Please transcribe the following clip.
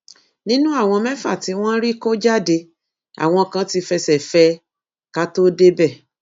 nínú àwọn mẹfà tí wọn rí kọ jáde àwọn kan tí fẹsẹ fẹ ẹ ká tóó débẹ